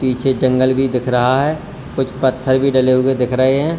पीछे जंगल भी दिख रहा है कुछ पत्थर भी डले हुए दिख रहे हैं।